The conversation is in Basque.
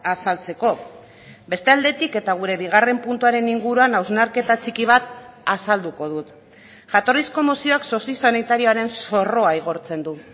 azaltzeko beste aldetik eta gure bigarren puntuaren inguruan hausnarketa txiki bat azalduko dut jatorrizko mozioak sozio sanitarioaren zorroa igortzen du